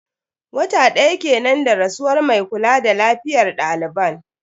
Wata daya kenan da rasuwar mai kula da lafiyar daliban.